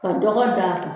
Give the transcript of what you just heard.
Ka dɔgɔ d'a kan